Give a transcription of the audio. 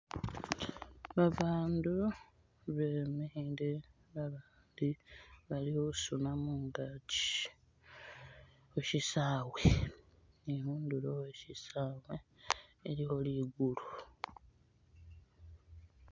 Babandu bemikhile babandi bali khusuna mungaki khushisawe ni khundulo khwe shisawe iliwo ligulu